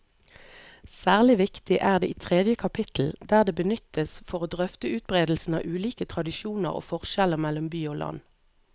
Særlig viktig er det i tredje kapittel, der det benyttes for å drøfte utbredelsen av ulike tradisjoner og forskjeller mellom by og land.